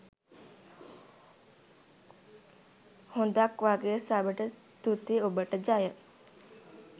හොද ක් වගෙ සබට තුති ඔබට ජය.